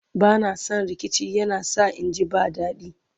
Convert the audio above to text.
bana San rikici yana sa inji ba dadi